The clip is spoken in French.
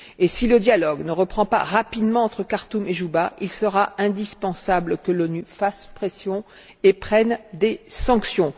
Si le dialogue ne reprend pas rapidement entre Khartoum et Djouba, il sera indispensable que les Nations unies fassent pression et prennent des sanctions.